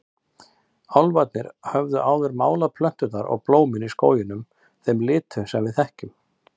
Álfarnir höfðu áður málað plönturnar og blómin í skóginum þeim litum sem við þekkjum.